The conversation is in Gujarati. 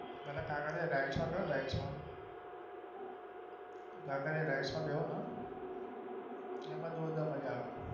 કાંકરિયા rides માં બેસો rides માં કાંકરિયા rides માં બેસો ને એમાં જોરદાર મજા આવે